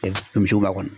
Misiw b'a kɔnɔ